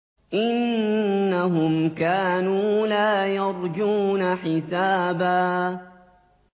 إِنَّهُمْ كَانُوا لَا يَرْجُونَ حِسَابًا